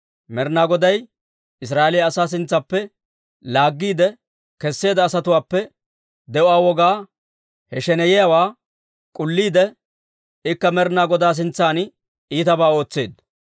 Med'inaa Goday Israa'eeliyaa asaa sintsaappe laaggiide kesseedda asatuwaappe de'uwaa wogaa, he sheneyiyaawaa k'ulliide, ikka Med'inaa Godaa sintsan iitabaa ootseedda.